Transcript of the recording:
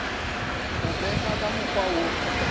go befa ka mokgwa wo